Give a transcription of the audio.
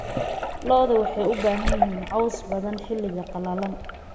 lo'dayda waxay u baahan yihiin caws badan xilliga qalalan